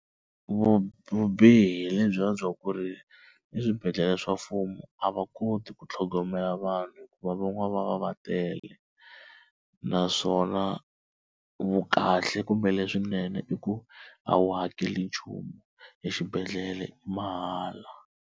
Vubihi lebyiya bya ku ri eswibedhlele swa mfumo a va koti ku tlhogomela vanhu hikuva van'wana va va va tele naswona vukahle kumbe leswinene i ku a wu hakeli nchumu exibedhlele i mahala.